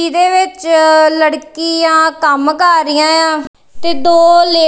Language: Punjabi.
ਇਹਦੇ ਵਿੱਚ ਲੜਕੀਆਂ ਕੰਮ ਕਰ ਰਹੀਆਂ ਆ ਤੇ ਦੋ ਲੇ --